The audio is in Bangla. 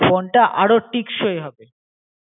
ফোনটা আরও টিকষই হবে